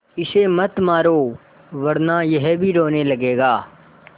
इसे मत मारो वरना यह भी रोने लगेगा